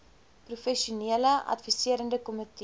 professionele adviserende komitee